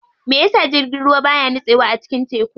Meyasa jirgin ruwa baya nitsewa a cikin teku?